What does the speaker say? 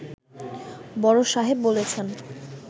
বড় সাহেব বলেছেন